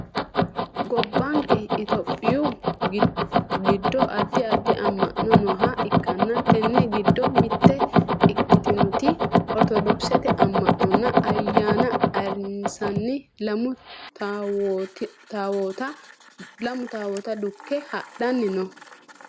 gobbanke itiyophiyu giddo addi addi amma'no nooha ikkanna tenne giddo mitte ikkitinoti ortodokisete ammanaano ayyaana ayeerrissaanni lamu tawoota dukke hadhanni no